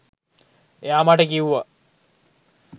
එයා මට කිව්වා